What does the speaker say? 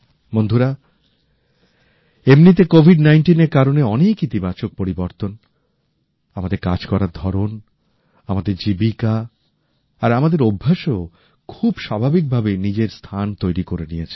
বন্ধুরা এমনিতে কোভিড19 এর কারণে অনেক ইতিবাচক পরিবর্তন আমাদের কাজ করার ধরণ আমাদের জীবিকা আর আমাদের অভ্যাসেও খুব স্বাভাবিকভাবেই নিজের স্থান তৈরি করে নিয়েছে